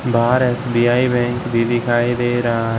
बाहर SBI bank भी दिखाई दे रहा है।